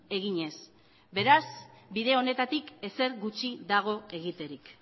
eginez beraz bide honetatik ezer gutxi dago egiterik